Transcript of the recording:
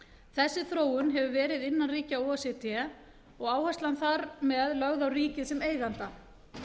þessi þróun hefur verið innan ríkja o e c d og áherslan þar með lögð á ríkið sem eiganda